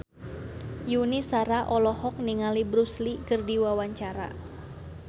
Yuni Shara olohok ningali Bruce Lee keur diwawancara